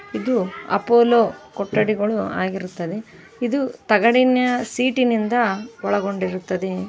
ಇದು ಅಪೋಲೋ ಕೊಠಡಿಗಳು ಆಗಿರುತ್ತದೆ ಇದು ತಗಡಿನ ಸೀಟಿನಿಂದ ಒಳಗೊಂಡಿರುತ್ತದೆ.